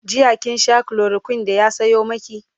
jiya kin Sha chloroquine da ya Sayo maki?